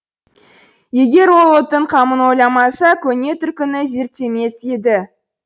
егер ол ұлттың қамын ойламаса көне түркіні зерттемес еді